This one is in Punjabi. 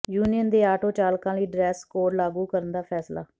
ਯੂਨੀਅਨ ਦੇ ਆਟੋ ਚਾਲਕਾਂ ਲਈ ਡਰੈਸ ਕੋਡ ਲਾਗੂ ਕਰਨ ਦਾ ਫ਼ੈਸਲਾ